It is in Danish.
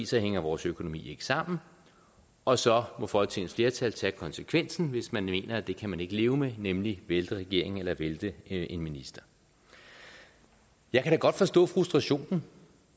så hænger vores økonomi ikke sammen og så må folketingets flertal tage konsekvensen hvis man mener at det kan man ikke leve med nemlig vælte regeringen eller vælte en minister jeg kan da godt forstå frustrationen